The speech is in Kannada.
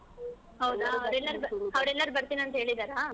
ಹೌದಾ ಅವ್ರೆಲ್ಲರೂ ಬರ್ತೀನಿ ಅಂತ ಹೇಳಿದಾರಾ?